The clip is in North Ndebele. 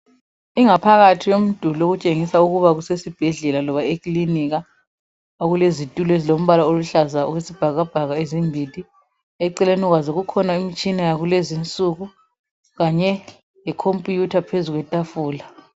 ingaphakathi yomduli etshingisa ukuthi kuphakathi kwesibhedlela okulezitulo ezilombala oluhlaza okwesibhakabhaka ezimbili eceleni kwazo kukhona imitshina yalezo insuku kanye lekhomputha ephezulu